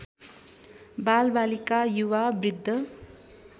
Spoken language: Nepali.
बालबालिका युवा बृद्ध